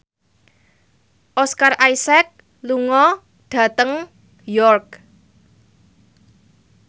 Oscar Isaac lunga dhateng York